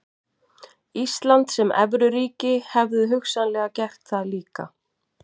Ísland sem evruríki hefðu hugsanlega gert það líka.